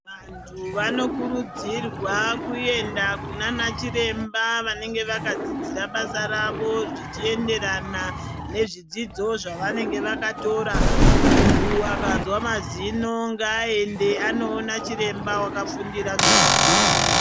Vantu vano kurudzirwa kuenda kunana chiremba vanenge vaka dzidzira basa ravo zichi enderana ne zvidzidzo zvava nenge vakatora muntu akanzwa mazino ngaa ende ano ona chiremba aka fundira zvema dzino.